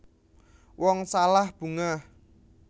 Wong salah bungah